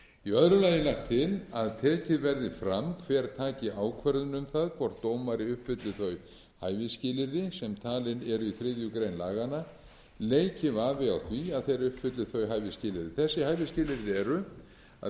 í öðru lagi er lagt til að tekið verði fram hver taki ákvörðun um það hvort dómari uppfylli þau hæfisskilyrði sem talin eru í þriðju grein laganna leiki vafi á því að þeir uppfylli þau hæfisskilyrði þessi hæfisskilyrði eru að vera ekki yngri en